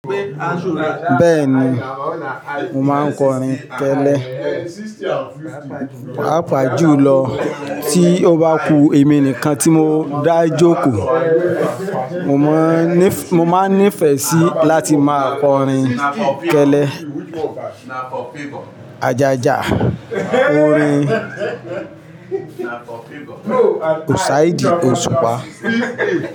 Bẹ́ẹ̀ni, mo máa ń kọrin kẹ́lẹ́. Pa pa julọ tí ó bá ku èmi nìkan tí mo dá jókòó. Mo máa ń nífẹ̀ẹ́ sí láti máa kọrin kẹ́lẹ́. Ajaja, orin Òṣàìdí Òṣùpá.